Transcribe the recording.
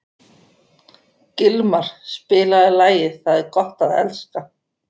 Gilmar, spilaðu lagið „Það er gott að elska“.